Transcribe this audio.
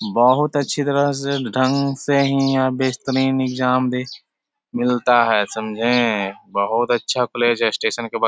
बहुत अच्छी तरह से ढंग से ही यहाँ बेहतरीन एग्जाम दे मिलता है समझे बहुत अच्छा कॉलेज है स्टेशन के बग --